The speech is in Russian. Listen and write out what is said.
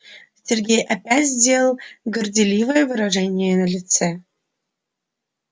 сергей опять сделал горделивое выражение на лице